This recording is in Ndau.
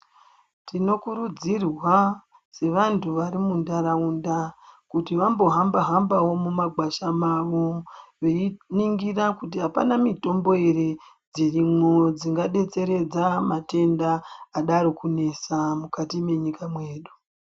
Tinokurudzirwa sevantu varimuntaraunda, kuti vambohamba hambawo mumakwasha mavo beyiningira kuti hapana mitombo here dzirimo ,dzingadetseredza matenda adarokunetsa mukati mwenyika mwedu.